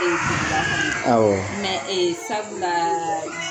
E Awɔɔ e sabula